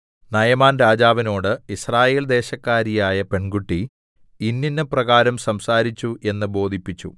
നയമാൻ രാജാവിനോട് യിസ്രായേൽ ദേശക്കാരിയായ പെൺകുട്ടി ഇന്നിന്നപ്രകാരം സംസാരിച്ചു എന്ന് ബോധിപ്പിച്ചു